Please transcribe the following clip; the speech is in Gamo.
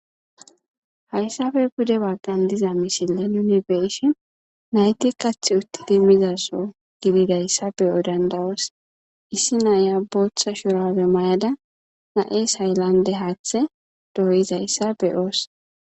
Hayssafe bude waggan diza mishilen yunibeshin nayti kath uttidi mizaso gididayssa beyo dandawoos issi naiya booththa shurawe mayada na'es hayllande haaththe dooyizayssa beyoos.